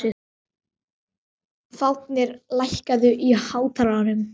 Fáfnir, lækkaðu í hátalaranum.